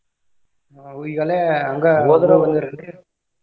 ಅವು ಈಗೆಲ್ಲಾ ಹಂಗ .